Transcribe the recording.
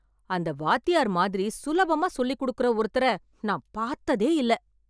அந்த வாத்தியார் மாதிரி சுலபமா சொல்லிக் கொடுக்கிற ஒருத்தரை நான் பார்த்ததே இல்லை